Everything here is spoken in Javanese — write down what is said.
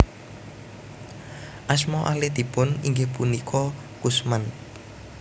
Asma alitipun inggih punika Kusman